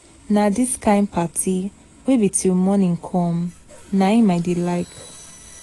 Na dis kin party wey be till morning come na im I dey like.